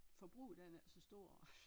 Forbruget er ikke nær så stort